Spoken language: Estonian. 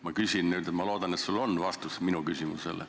Ma küsin nüüd ja ma loodan, et sul on vastus minu küsimusele.